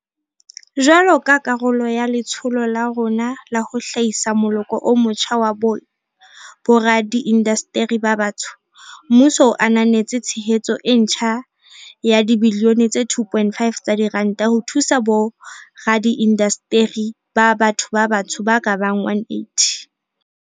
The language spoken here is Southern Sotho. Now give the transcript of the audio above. Jwalo ka karolo ya letsholo la rona la ho hlahisa moloko o motjha wa boradiindasteri ba batsho, mmuso o ananetse tshehetso e ntjha ya dibilione tse 2.5 tsa diranta ho thusa boradiindasteri ba batho ba batsho ba ka bang 180.